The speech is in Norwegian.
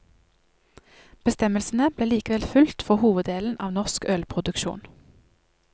Bestemmelsene blir likevel fulgt for hoveddelen av norsk ølproduksjon.